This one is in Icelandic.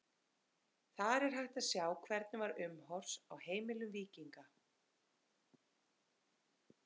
Þar er hægt að sjá hvernig var umhorfs á heimilum víkinga.